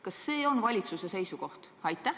Kas see on valitsuse seisukoht?